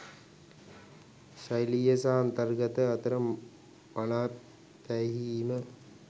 ශෛලිය සහ අන්තර්ගතය අතර මනා පෑහීම